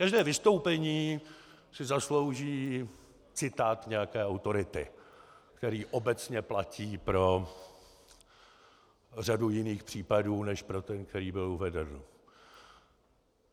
Každé vystoupení si zaslouží citát nějaké autority, který obecně platí pro řadu jiných případů než pro ten, který byl uveden.